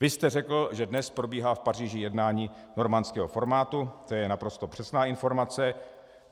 Vy jste řekl, že dnes probíhá v Paříži jednání normandského formátu, to je naprosto přesná informace.